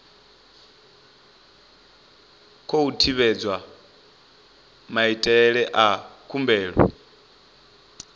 khou tevhedzwa maitele a khumbelo